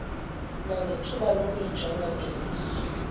nangethuba lokuyijonga ngeliso